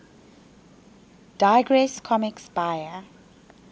digress comics buyer